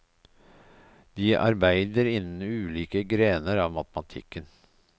De arbeider innen ulike grener av matematikken.